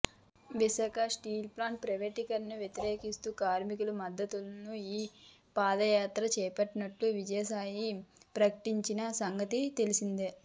Visakha steel plant ప్రైవేటీకరణను వ్యతిరేకిస్తూ కార్మికలకు మద్దతుగా ఈ పాదయాత్ర చేపట్టనున్నట్లు విజయసాయి ప్రకటించిన సంగతి తెలిసిందే